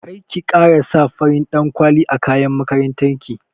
Karki kara sa farin ɗan kwali a kayan makaranta ki